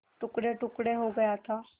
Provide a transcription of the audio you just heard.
टुकड़ेटुकड़े हो गया था